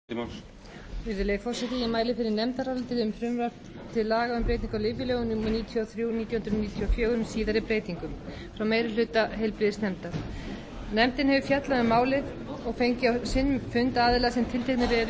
virðulegi forseti ég mæli fyrir nefndaráliti um frumvarp til laga um breytingu á lyfjalögum númer níutíu og þrjú nítján hundruð níutíu og fjögur með síðari breytingum frá meiri hluta heilbrigðisnefndar nefndin hefur fjallað um málið og fengið á sinn fund aðila sem tilgreindir eru